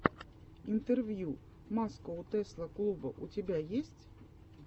интервью маскоу тесла клуба у тебя есть